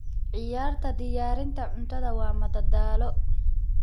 Ciyaarta diyaarinta cuntada waa madadaalo.